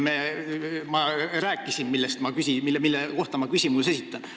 Ma rääkisin talle, mille kohta ma küsimuse esitan.